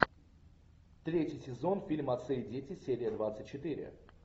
третий сезон фильм отцы и дети серия двадцать четыре